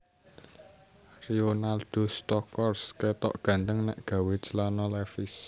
Rionaldo Stockhorst ketok ganteng nek gawe celana levis